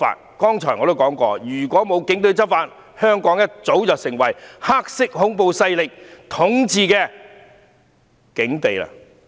我剛才已說了，如果沒有警隊執法，香港早已陷入黑色恐怖勢力統治的境地了。